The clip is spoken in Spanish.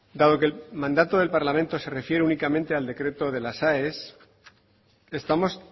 dado que el mandato del parlamento se refiere únicamente al decreto de las aes estamos